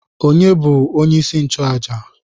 Onye bu onye isi nchụaja?